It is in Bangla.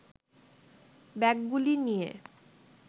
ব্যাগগুলি নিয়ে